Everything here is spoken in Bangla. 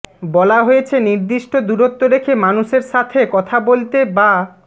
বলা হয়েছে নির্দিষ্ট দূরত্ব রেখে মানুষের সাথে কথা বলতে বা